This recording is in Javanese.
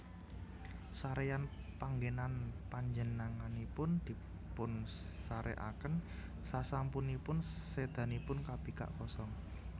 Saréyan panggènan Panjenenganipun dipunsarèkaken sasampunipun sédanipun kabikak kosong